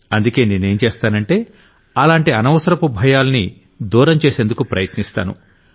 అందుకే నేనేం చేస్తానంటే అలాంటి అనవసరపు భయాల్ని దూరం చేసేందుకు ప్రయత్నిస్తాను